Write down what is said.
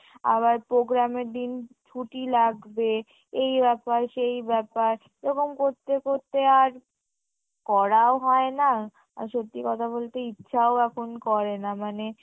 আবার program এর দিন ছুটি লাগবে এই ব্যাপার সেই ব্যাপার এবং করতে করতে আর করাও হয় না আর সত্যি কথা বলতে ইচ্ছাও এখন করেনা মানে